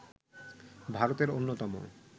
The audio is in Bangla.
ভারতের অন্যতম